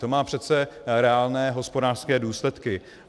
To má přece reálné hospodářské důsledky.